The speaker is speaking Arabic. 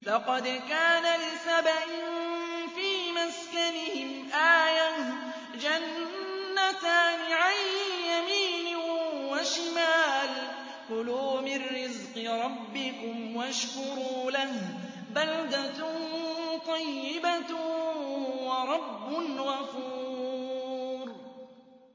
لَقَدْ كَانَ لِسَبَإٍ فِي مَسْكَنِهِمْ آيَةٌ ۖ جَنَّتَانِ عَن يَمِينٍ وَشِمَالٍ ۖ كُلُوا مِن رِّزْقِ رَبِّكُمْ وَاشْكُرُوا لَهُ ۚ بَلْدَةٌ طَيِّبَةٌ وَرَبٌّ غَفُورٌ